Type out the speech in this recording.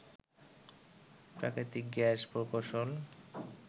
প্রাকৃতিক গ্যাস প্রকৌশল